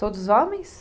Todos homens?